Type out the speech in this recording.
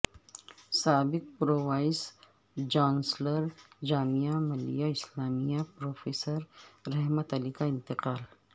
سابق pro vice chancellor Jamia Millia Islamia professor Rahmat Ali کا انتقال